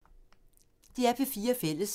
DR P4 Fælles